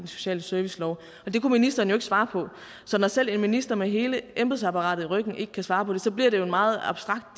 sociale servicelov det kunne ministeren jo ikke svare på når selv en minister med hele embedsapparatet i ryggen ikke kan svare på det bliver det jo en meget abstrakt